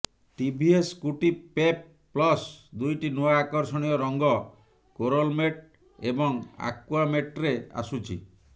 TVS Scooty Pep plus ଦୁଇଟି ନୂଆ ଆକର୍ଷଣୀୟ ରଙ୍ଗ କୋରଲ ମେଟ୍ ଏବଂ ଆକ୍ୱା ମେଟ୍ରେ ଆସୁଛି